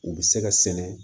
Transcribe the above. U bɛ se ka sɛnɛ